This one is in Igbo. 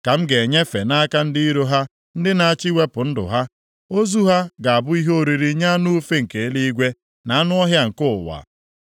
ka m ga-enyefe nʼaka ndị iro ha ndị na-achọ iwepụ ndụ ha. Ozu ha ga-abụ ihe oriri nye anụ ufe nke eluigwe na anụ ọhịa nke ụwa.